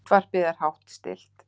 Útvarpið er hátt stillt.